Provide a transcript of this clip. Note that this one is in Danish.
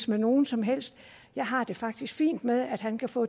med nogen som helst jeg har det faktisk fint med at han kan få